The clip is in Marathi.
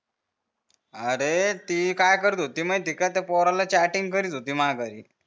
अरे ती काय करत होती माहित हे का त्या पोराला चॅटिंग करत होती माघारी